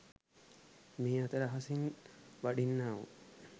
මේ අතර අහසින් වඩින්නාවූ